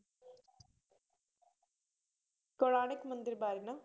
ਕੋਣਾਰਕ ਮੰਦਿਰ ਬਾਰੇ ਨਾ?